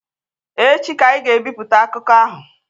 Echi ka anyị ga-ebipụta akụkọ ahụ.